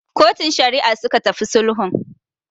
Kotun Shari'a suka tafi sulhun.